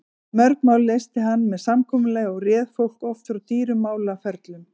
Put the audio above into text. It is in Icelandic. Mörg mál leysti hann með samkomulagi og réð fólki oft frá dýrum málaferlum.